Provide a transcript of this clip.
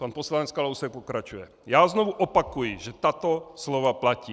Pan poslanec Kalousek pokračuje: Já znovu opakuji, že tato slova platí.